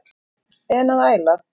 En að æla?